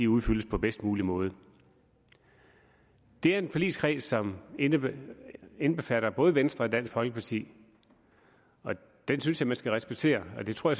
udfyldes på bedst mulig måde det er en forligskreds som indbefatter både venstre og dansk folkeparti og den synes jeg man skal respektere og det tror